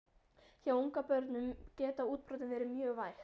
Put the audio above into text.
Hjá ungbörnum geta útbrotin verið mjög væg.